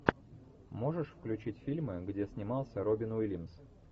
можешь включить фильмы где снимался робин уильямс